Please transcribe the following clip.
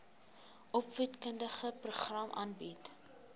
opvoedkundige programme aanbied